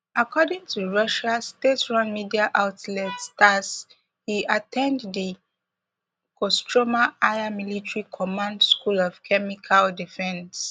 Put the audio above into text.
according to russian staterun media outlet tass e at ten d di kostroma higher military command school of chemical defence